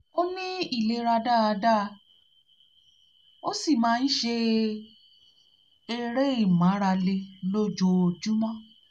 ó ní ìlera dáadáa ó sì máa ń ṣe máa ń ṣe eré ìmárale lójuoojúmọ́